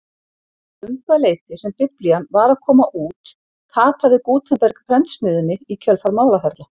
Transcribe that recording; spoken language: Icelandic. Um það leyti sem biblían var að koma út tapaði Gutenberg prentsmiðjunni í kjölfar málaferla.